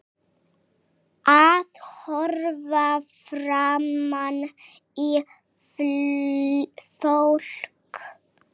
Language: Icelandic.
Að horfa framan í fólk.